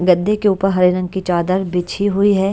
गद्दे के ऊपर हरे रंग की चादर बिछी हुई है।